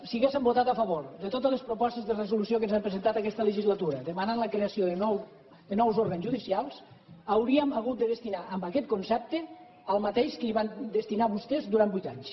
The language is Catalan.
si haguéssim votat a favor de totes les propostes de resolució que ens han presentat en aquesta legislatura demanant la creació de nous òrgans judicials hauríem hagut de destinar a aquest concepte el mateix que hi van destinar vostès durant vuit anys